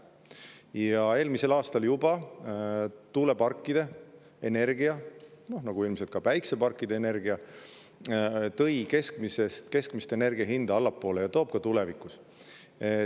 Juba eelmisel aastal tõi energia tuuleparkidest, nagu ilmselt ka energia päikeseparkidest, keskmist energia hinda allapoole ja toob ka tulevikus.